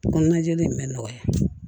Ko najini mɛ nɔgɔya